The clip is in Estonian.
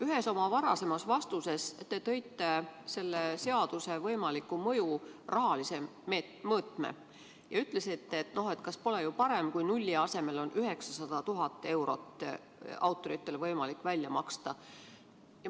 Ühes oma varasemas vastuses te tõite selle seaduse võimaliku mõju rahalise mõõtme ja ütlesite, et on ju parem, kui on võimalik autoritele nulli asemel välja maksta 900 000 eurot.